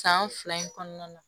San fila in kɔnɔna na